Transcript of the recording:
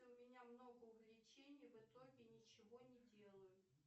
у меня много увлечений в итоге ничего не делаю